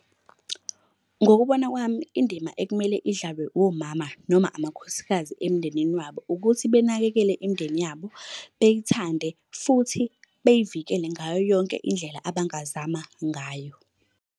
Ngokubona kwami indima ekumele idlalwe womama noma amakhosikazi emndenini wabo ukuthi benakekele imindeni yabo, beyithande, futhi beyivikele ngayo yonke indlela abangazama ngayo.